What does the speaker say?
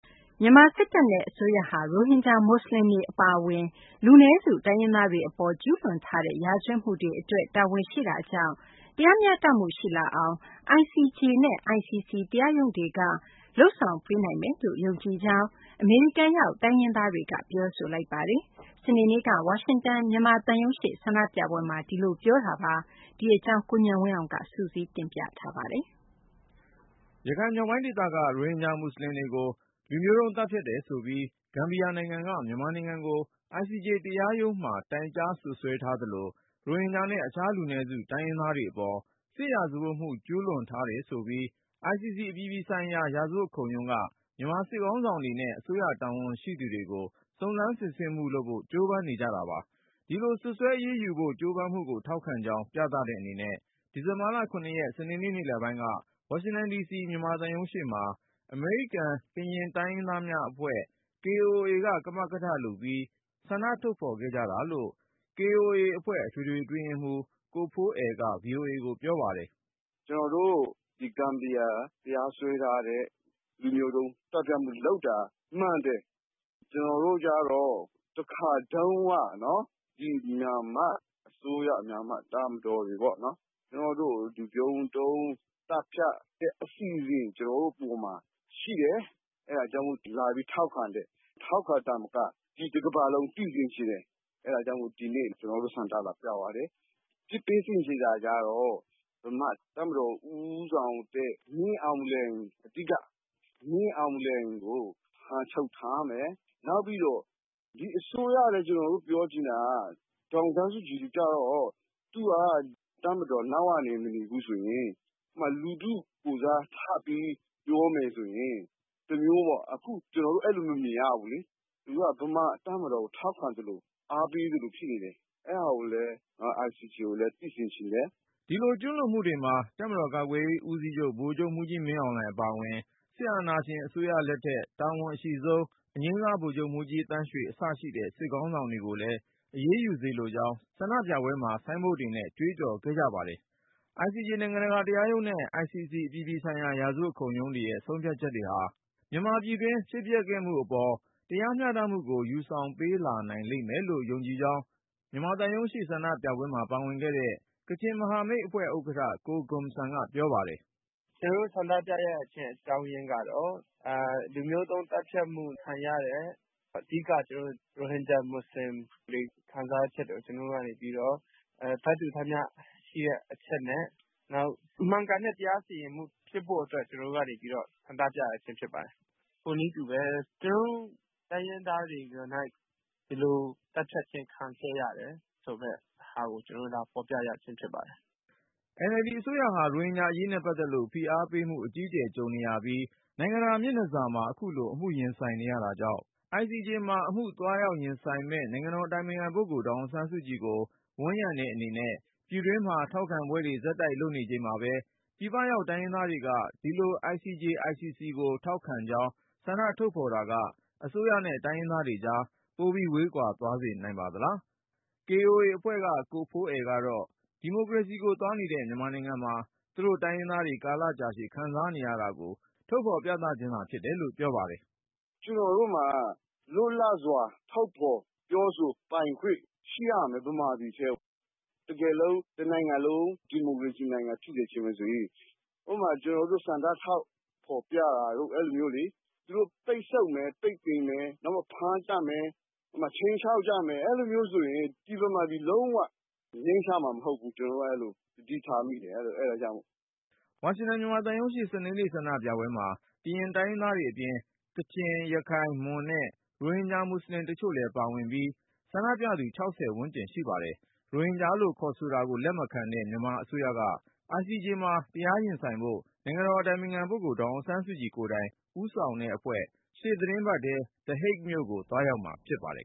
မြန်မာစစ်တပ်နဲ့ အစိုးရဟာ ရိုဟင်ဂျာ မွတ်စလင်တွေ အပါအဝင် လူနည်းစု တိုင်းရင်းသားတွေအပေါ် ကျူးလွန်ထားတဲ့ ရာဇဝတ်မှုတွေအတွက် တာဝန်ရှိတာကြောင့် တရားမျှတမှု ရှိလာအောင် ICJ နဲ့ ICC တရားရုံးတွေက လုပ်ဆောင်ပေးနိုင်မယ်လို့ ယုံကြည်ကြောင်း အမေရိကန်ရောက် တိုင်းရင်းသားတွေက ပြောဆိုလိုက်ကြပါတယ်။ စနေနေ့က ဝါရှင်တန် မြန်မာသံရုံးရှေ့ ဆန္ဒပြပွဲမှာ အဲဒီလို ပြောဆိုလိုက်တာပါ။ အပြည့်အစုံကို ကိုဉာဏ်ဝင်းအောင်က စုစည်းတင်ပြထားပါတယ်။ ရခိုင်မြောက်ပိုင်းဒေသက ရိုဟင်ဂျာမွတ်စလင်တွေကို လူမျိုးတုံး သတ်ဖြတ်တယ်ဆိုပြီး ဂမ်ဘီယာနိုင်ငံက မြန်မာနိုင်ငံကို ICJ နိုင်ငံတကာ တရားရုံးမှာ တိုင်ကြားစွပ်စွဲထားသလို ရိုဟင်ဂျာနဲ့ တခြားလူနည်းစု တိုင်းရင်းသားတွေအပေါ် စစ်ရာဇဝတ်မှု ကျူးလွန်ထားတယ်ဆိုပြီး ICC အပြည်ပြည်ဆိုင်ရာ ရာဇဝတ်ခုံရုံးက မြန်မာစစ်ခေါင်းဆောင်တွေနဲ့ အစိုးရတာဝန်ရှိသူတွေကို စုံစမ်းစစ်ဆေးနေတာပါ။ ဒီလို စွပ်စွဲအရေးယူဖို့ ကြိုးပမ်းမှုကို ထောက်ခံကြောင်း ပြသတဲ့အနေနဲ့ ဒီဇင်ဘာ ၇ ရက်၊ စနေနေ့ နေ့လယ်ပိုင်းက ဝါရှင်တန်ဒီစီ မြန်မာသံရုံးရှေ့မှာ အမေရိကန်-ကရင်တိုင်းရင်းသားများအဖွဲ့ (Karen Organization of America- KOA) က ကမကထလုပ်ပြီး ဆန္ဒထုတ်ဖော်ခဲ့ကြတာလို့ KOA အဖွဲ့ အထွေထွေအတွင်းရေးမှူး ကိုဖိုးအယ်က ဗွီအိုအေကို ပြောပါတယ်။ “ဂမ်ဘီယာ တရားစွဲထားတဲ့ လူမျိုးတုံးသတ်ဖြတ်မှုလုပ်တာ မှန်တယ်။ ကျနော်တို့ကျတော့ တခါတုန်းက မြန်မာအစိုးရ တပ်မတော်တွေပေါ့နော် ကျနော်တို့ကို လူမျိုးတုံးသတ်ဖြတ်တဲ့ အဆင့်အထိ ကျနော်တို့အပေါ်မှာ ရှိတယ်။ အဲဒါကြောင့် လာပြီး ထောက်ခံတယ်။ ထောက်ခံတာမက တကမ္ဘာလုံး သိစေချင်တယ်။ အဲဒါကြောင့် ဒီနေ့ ကျနော်တို့ ဆန္ဒလာပြပါတယ်။ အပြစ်ပေးစေချင်တာကတော့ ဗမာ့တပ်မတော် ဦးဆောင်တဲ့ မင်းအောင်လှိုင် အဓိက၊ မင်းအောင်လှိုင်ကို ဖမ်းချုပ်ထားမယ်၊ နောက်ပြီးတော့ ဒီအစိုးရလည်း ကျနော်တို့ ပြောချင်တာက ဒေါ်အောင်ဆန်းစုကြည်ကျတော့ သူက တပ်မတော်နောက်ကနေ မနေဘူးဆိုရင် လူထုကိုယ်စား ပြောမယ်ဆိုရင် တမျိုးပေါ့၊ အခု ကျနော်တို့ အဲဒီလို မမြင်ရဘူးလေ။ သူက ဗမာတပ်မတော်ကို ထောက်ခံသလို အားပေးသလို ဖြစ်နေတယ်။ အဲဒါကိုလည်း ICJ ကို သိစေချင်တယ်။” ဒီလို ကျူးလွန်မှုတွေမှာ တပ်မတော်ကာကွယ်ရေးဦးစီးချုပ် ဗိုလ်ချုပ်မှူးကြီး မင်းအောင်လှိုင် အပါအဝင် စစ်အာဏာရှင်အစိုးရလက်ထက် တာဝန်အရှိဆုံး အငြိမ်းစား ဗိုလ်ချုပ်မှူးကြီး သန်းရွှေ အစရှိတဲ့ စစ်ခေါင်းဆောင်တွေကိုလည်း အရေးယူစေလိုကြောင်း ဆန္ဒပြပွဲမှာ ဆိုင်းဘုတ်တွေနဲ့ ကြွေးကြော်ခဲ့ကြတာပါ။ ICJ နိုင်ငံတကာတရားရုံးနဲ့ ICC အပြည်ပြည်ဆိုင်ရာ ရာဇဝတ်ခုံရုံးတွေရဲ့ ဆုံးဖြတ်ချက်တွေဟာ မြန်မာပြည်တွင်း ဖြစ်ပျက်ခဲ့မှုအပေါ် တရားမျှတမှုကို ယူဆောင်ပေးလာနိုင်မယ်လို့ ယုံကြည်ကြောင်း မြန်မာသံရုံးရှေ့ ဆန္ဒပြပွဲမှာ ပါဝင်ခဲ့တဲ့ ကချင်မဟာမိတ်အဖွဲ့ဥက္ကဋ္ဌ ကိုဂွန်ဆမ်က ပြောပါတယ်။ “ကျနော်တို့ ဆန္ဒပြရခြင်း အကြောင်းရင်းကတော့ လူမျိုးတုံးသတ်ဖြတ်မှု ခံရတဲ့ အဓိက ရိုဟင်ဂျာ မွတ်စလင်တွေ ခံစားချက်တွေကို ကျနော်တို့ကနေပြီးတော့ ထပ်တူထပ်မျှရှိတဲ့ အချက်နဲ့ နောက် မှန်ကန်တဲ့ တရားစီရင်မှု ဖြစ်ဖို့အတွက် ကျနော်တို့ကနေပြီးတော့ ဆန္ဒပြရခြင်း ဖြစ်ပါတယ်။ ထို့နည်းတူပဲ ကျနော်တို့ တိုင်းရင်းသားတွေကိုယ်နှိုက် ဒီလို သတ်ဖြတ်ခြင်း ခံခဲ့ရတယ် ဆိုတဲ့ဟာကို ကျနော်တို့ လာဖော်ပြရခြင်း ဖြစ်ပါတယ်။” NLD အစိုးရဟာ ရိုဟင်ဂျာအရေးနဲ့ ပတ်သက်လို့ ဖိအားပေးမှု အကြီးအကျယ် ကြုံနေရပြီး နိုင်ငံတကာ မျက်နှာစာမှာ အခုလို အမှုရင်ဆိုင်နေရတာကြောင့် ICJ မှာ အမှုသွားရင်ဆိုင်မယ့် နိုင်ငံတော်အတိုင်ပင်ခံပုဂ္ဂိုလ် ဒေါ်အောင်ဆန်းစုကြည်ကို ဝန်းရံတဲ့အနေနဲ့ ပြည်တွင်းမှာ ထောက်ခံပွဲတွေ ဆက်တိုက်လုပ်နေချိန်မှာ ပြည်ပရောက် တိုင်းရင်းသားတွေက ဒီလို ICJ/ICC ကို ထောက်ခံကြောင်း ဆန္ဒထုတ်ဖော်တာက အစိုးရနဲ့ တိုင်းရင်းသားတွေကြား ပိုဝေးကွာ သွားစေနိုင်ပါသလား… KOA အဖွဲ့က ကိုဖိုးအယ်ကတော့ ဒီမိုကရေစီကိုသွားနေတဲ့ မြန်မာနိုင်ငံမှာ သူတို့ တိုင်းရင်းသားတွေ ကာလကြာရှည် ခံစားနေရတာကို ထုတ်ဖော်ခြင်းသာ ဖြစ်တယ်လို့ ပြောပါတယ်။ “ကျနော်တို့မှာ လွတ်လပ်စွာ ထုတ်ဖော် ပြောဆိုပိုင်ခွင့် ရှိရမယ်၊ ဗမာပြည်ထဲမှာ။ တကယ်လို့ တနိုင်ငံလုံး ဒီမိုကရေစီနိုင်ငံ ဖြစ်စေချင်တယ်ဆိုရင် ဥပမာ ကျနော်တို့ ဆန္ဒ ထုတ်ဖော်ပြတာတို့ အဲဒီလိုမျိုး သူတို့ ပိတ်ဆို့မယ်၊ ပိတ်ပင်မယ်၊ ဖမ်းသတ်မယ်၊ ခြိမ်းခြောက်ကြမယ် အဲဒီလိုမျိုးဆိုရင် ဗမာပြည် လုံးဝ ငြိမ်းချမ်းမှာမဟုတ်ဘူး။ ကျနော်တို့က သတိထားမိတယ် အဲဒါကြောင့်မို့။” ဝါရှင်တန် မြန်မာသံရုံးရှေ့ စနေနေ့ ဆန္ဒပြပွဲမှာ ကရင်တိုင်းရင်းသားတွေသာမက ကချင်၊ ရခိုင်၊ မွန်နဲ့ ရိုဟင်ဂျာမွတ်စလင်တချို့လည်း ပါဝင်ပြီး ဆန္ဒပြသူ ၆၀ ဝန်းကျင် ရှိပါတယ်။ ရိုဟင်ဂျာလို့ ခေါ်ဆိုတာကို လက်မခံတဲ့ မြန်မာအစိုးရက ICJ မှာ တရားရင်ဆိုင်ဖို့ နိုင်ငံတော်အတိုင်ပင်ခံပုဂ္ဂိုလ် ဒေါ်အောင်ဆန်းစုကြည်ကိုယ်တိုင် ဦးဆောင်တဲ့အဖွဲ့ ရှေ့သီတင်းပတ်ထဲ The Hague မြို့ကို သွားရောက်မှာဖြစ်ပါတယ်